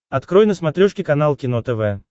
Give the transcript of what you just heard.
открой на смотрешке канал кино тв